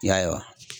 Ya